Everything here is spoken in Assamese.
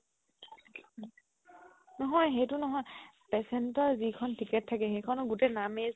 নহয় সেইটো নহয় patient ৰ যিখন ticket থকে সেইখনৰ গুটেই নামে